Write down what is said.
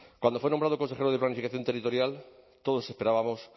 cuando fue nombrado consejero de planificación territorial todos estábamos